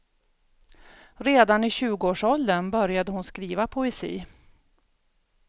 Redan i tjugoårsåldern började hon skriva poesi.